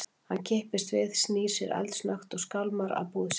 Hann kippist við, snýr sér eldsnöggt og skálmar að búð sinni.